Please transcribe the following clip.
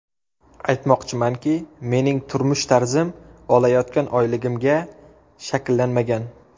Aytmoqchimanki, mening turmush tarzim olayotgan oyligimga shakllanmagan.